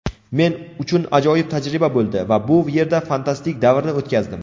Men uchun ajoyib tajriba bo‘ldi va bu yerda fantastik davrni o‘tkazdim.